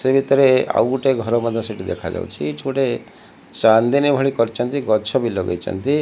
ସେଇ ଭିତରେ ଆଉ ଗୋଟେ ଘର ମଧ୍ୟ ସେଠି ଦେଖାଯାଉଛି ଏଇଠି ଗୋଟେ ଚାନ୍ଦିନୀ ଭଳି କରିଚନ୍ତି ଗଛ ବି ଲଗେଇଚନ୍ତି।